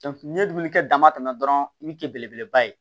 n'i ye dumuni kɛ dama tɛmɛ dɔrɔn i bɛ kɛ belebeleba ye